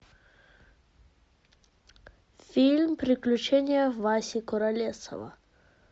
фильм приключения васи куролесова